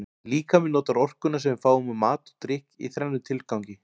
Líkaminn notar orkuna sem við fáum úr mat og drykk í þrennum tilgangi.